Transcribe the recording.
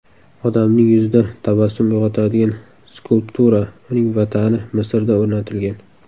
Odamning yuzida tabassum uyg‘otadigan skulptura uning vatani Misrda o‘rnatilgan.